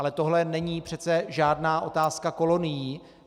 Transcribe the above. Ale tohle není přece žádná otázka kolonií.